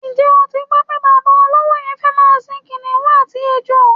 Ǹjé̩ o ti gbó̩ pé bàbá olówo ye̩n fé̩ máa sin kìnìún àti ejò?